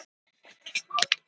Þorsteins Jónssonar járnsmiðs.